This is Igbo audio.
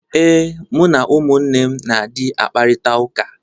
Ee, mụ na ụmụnne m na-adị akparịtaụka.